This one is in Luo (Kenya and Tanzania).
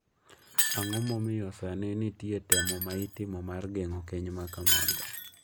Ang’o momiyo sani nitie temo ma itimo mar geng’o keny ma kamago?